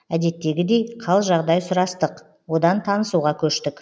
әдеттегідей қал жағдай сұрастық одан танысуға көштік